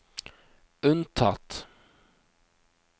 unntatt